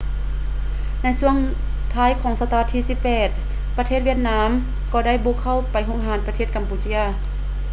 ໃນຊ່ວງທ້າຍຂອງສະຕະວັດທີ 18 ປະເທດຫວຽດນາມກໍ່ໄດ້ບຸກເຂົ້າໄປຮຸກຮານປະເທດກຳປູເຈຍ